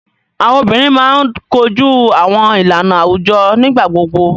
Awọn obinrin máa ń koju awọn ilana awujọ nigbagbogbo.